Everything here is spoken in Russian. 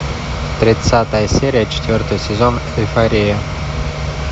тридцатая серия четвертый сезон эйфория